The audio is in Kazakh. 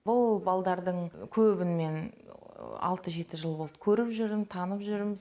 бұл балдардың көбін мен алты жеті жыл болды көріп жүрм танып жүрм